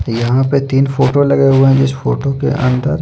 यहाँ पे तीन फोटो लगे हुए है जिस फोटो के अंदर --